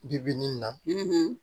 Bibi nin na